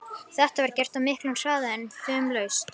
Þetta var gert á miklum hraða en fumlaust.